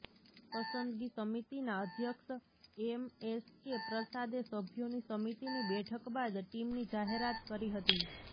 પસંદગી સમિતિના અધ્યક્ષ એમએસકે પ્રસાદે સભ્યોની સમિતિની બેઠક બાદ ટીમની જાહેરાત કરી હતી